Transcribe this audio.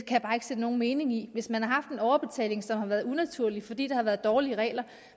jeg bare ikke se nogen mening i hvis man har haft en overbetaling som har været unaturlig fordi der har været dårlige regler